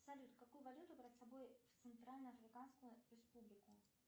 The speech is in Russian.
салют какую валюту брать с собой в центрально африканскую республику